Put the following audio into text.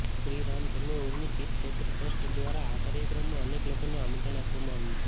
શ્રી રામ જન્મભૂમિ તીર્થ ક્ષેત્ર ટ્રસ્ટ દ્વારા આ કાર્યક્રમમાં અનેક લોકોને આમંત્રણ આપવામાં આવ્યુ છે